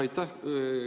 Aitäh!